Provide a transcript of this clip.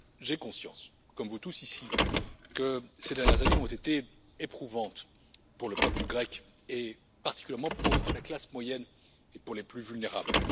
J'ai conscience comme vous tous, ici, que ces dernières années ont été éprouvantes pour le peuple grec, et particulièrement pour la classe moyenne et pour les plus vulnérables.